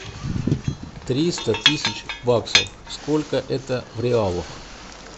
триста тысяч баксов сколько это в реалах